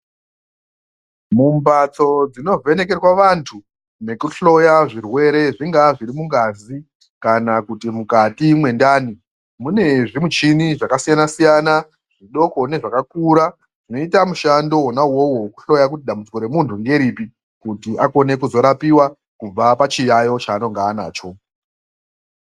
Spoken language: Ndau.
Mumbatso dzinovhenekerwa vantu, nekuhloya zvirwere zvingaa zviri mungazi kana kuti zviri mukati mwendani, mune zvimuchini zvakasiyana-siyana, zvidoko nezvakakura, zvinoita mishando wona uwowo wekuhloya, kuti dambudziko remuntu ngeripi, kuti akone kuzorapiwa, kubva pachiyaiyo chaanonga anacho.